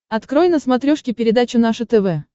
открой на смотрешке передачу наше тв